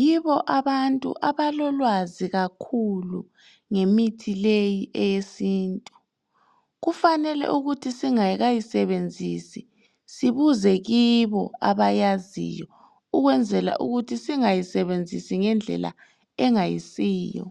yibo abantu abalolwazi kakhulu ngemithi leyi eyesintu, kufanele ukuthi singakayisebenzisi sibuze kibo abayaziyo ukwenzela ukuthi singayisebenzisi ngendlela engayisiyo.